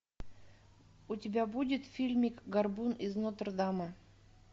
у тебя будет фильмик горбун из нотр дама